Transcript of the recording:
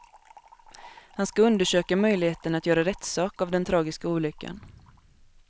Han ska undersöka möjligheten att göra rättssak av den tragiska olyckan.